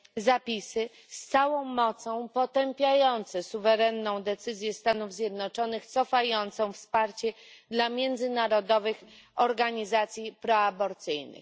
zapisy, które z całą mocą potępiają suwerenną decyzję Stanów Zjednoczonych cofającą wsparcie dla międzynarodowych organizacji proaborcyjnych.